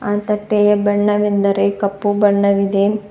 ಆ ತಟ್ಟೆಯ ಬಣ್ಣವೆಂದರೆ ಕಪ್ಪು ಬಣ್ಣವಿದೆ.